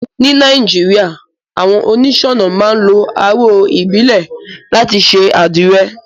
Ní Naijiria, àwon onísònà máa n lo aró ìbílè láti se àdìre